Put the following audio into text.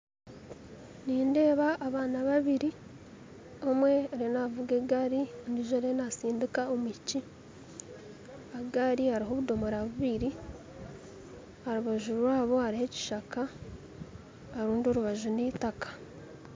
Nindeeba abaana babiiri omwe ariyo navuga egaari ondijo ariyo nastindiika omwishiiki aha gaari hariho obudomoora bubiiri aharubaju rwaabo hariho ekishaka aharundi orubaju n'itaaka